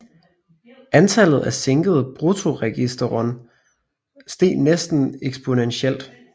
Antallet af sænkede bruttoregisterton steg næsten eksponentielt